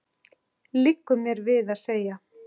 liggur mér við að segja.